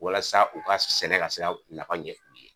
Walasa u ka sɛnɛ ka se ka nafa ɲɛ.